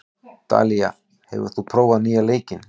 Dalía, hefur þú prófað nýja leikinn?